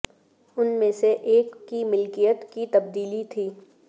ان میں سے ایک کی ملکیت کی تبدیلی تھی